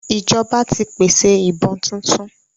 Ìjọba ti pèsè ìbọn tuntun